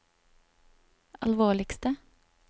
alvorligste